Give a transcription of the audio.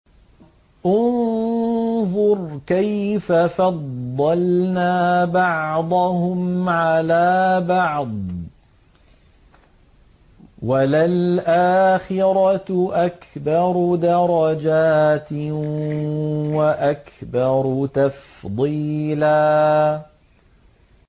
انظُرْ كَيْفَ فَضَّلْنَا بَعْضَهُمْ عَلَىٰ بَعْضٍ ۚ وَلَلْآخِرَةُ أَكْبَرُ دَرَجَاتٍ وَأَكْبَرُ تَفْضِيلًا